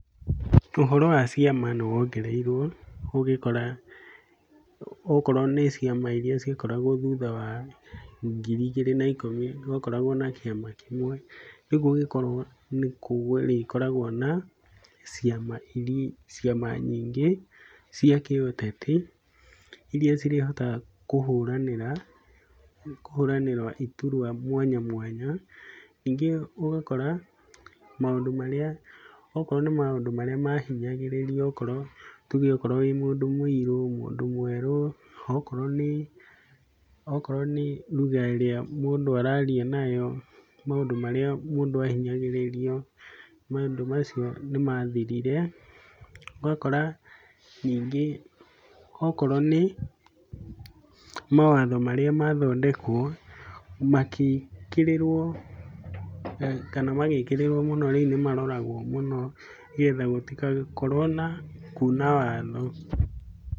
Ũhoro wa ciama nĩ wongereirwo ũgĩkora, okorwo nĩ ciama iria ciakoragwo thutha wa ngiri igĩrĩ na ikũmi, gwakoragwo na kĩama kĩmwe, rĩũ gũgĩkorwo nĩ kũrĩkoragwo na ciama iria, ciama nyingĩ, cia kĩũteti, iria cirĩhotaga kũhũranĩra, kũhũranĩra iturwa mwanya mwanya. Ningĩ ũgakora, maũndũ marĩa, okorwo nĩ maũndũ marĩa mahinyagĩrĩrio ũgakorwo, tuge akorwo wĩ mũndũ mũirũ, mũndũ mwerũ, okorwo nĩ, okorwo nĩ lugha ĩrĩa mũndũ araria nayo maũndũ marĩa ahinyagĩrĩrio, maũndũ macio nĩ mathirire, ũgakora ningĩ okorwo nĩ mawatho marĩa mathondekwo, magĩkĩrĩrwo kana magĩkĩrĩrwo mũno rĩu nĩmaroragwo mũno, nĩgetha gũtigakorwo na kuuna watho.